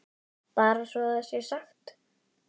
Bara svo það sé sagt.